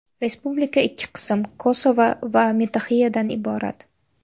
Respublika ikki qism – Kosovo va Metoxiyadan iborat.